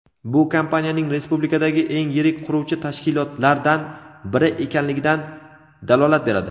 Bu kompaniyaning respublikadagi eng yirik quruvchi tashkilotlardan biri ekanligidan dalolat beradi.